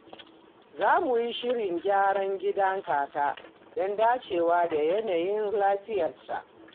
Za mu yi shirin gyara gidan kaka don dacewa da yanayin lafiyarsa.